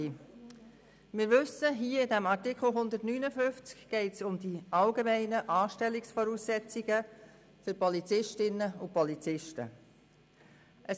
Wir wissen, dass es in Artikel 159 um die allgemeinen Anstellungsvoraussetzungen für Polizistinnen und Polizisten geht.